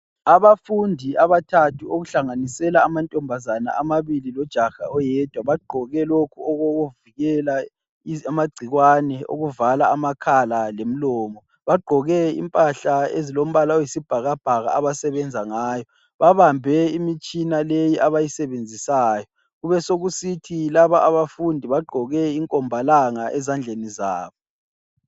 Abafundi abathathu okuhlanganisela amantombazana amabili lojaha oyedwa bagqoke lokhu okokuvikela amagcikwane okuvala amakhala lomlomo. Bagqoke impahla eziyibhakabhaka abasebenza ngayo. Babambe imitshina leyi abayisebenzisayo. Besekusithi laba abafundi bagqoke inkombalanga ezandleni zabo.